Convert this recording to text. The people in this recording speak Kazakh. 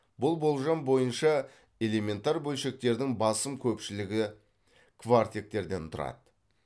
бұл болжам бойынша элементар бөлшектердің басым көпшілігі кварктектерден тұрады